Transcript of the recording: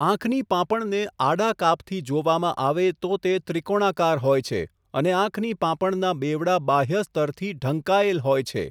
આંખની પાંપણને આડા કાપથી જોવામાં આવે તો તે ત્રિકોણાકાર હોય છે અને આંખની પાંપણના બેવડા બાહ્ય સ્તરથી ઢંકાયેલ હોય છે.